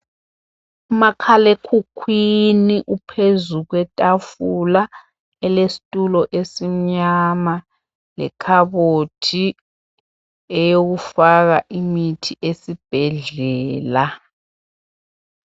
Umakhalekhukhwini uphezu kwetafula elesitulo esimnyama lekhabothi eyokufaka imithi esibhedlela